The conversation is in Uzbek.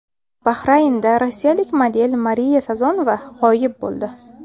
Bahraynda rossiyalik model Mariya Sazonova g‘oyib bo‘ldi.